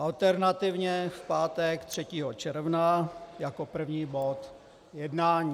Alternativně v pátek 3. června jako první bod jednání.